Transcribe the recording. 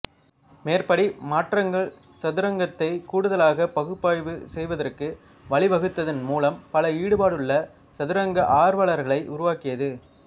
மேற்படி மாற்றங்கள் சதுரங்கத்தை கூடுதலாகப் பகுப்பாய்வு செய்வதற்கு வழிவகுத்ததின் மூலம் பல ஈடுபாடுள்ள சதுரங்க ஆர்வலர்களை உருவாக்கியது